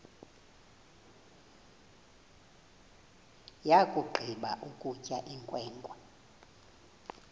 yakugqiba ukutya inkwenkwe